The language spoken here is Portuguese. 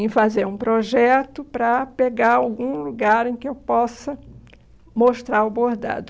em fazer um projeto para pegar algum lugar em que eu possa mostrar o bordado.